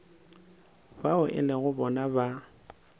bao e lego bona ba